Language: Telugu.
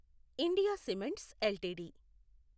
India cements LTD